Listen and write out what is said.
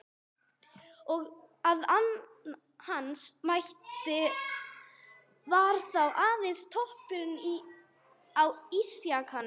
Og að hans mati var það aðeins toppurinn á ísjakanum.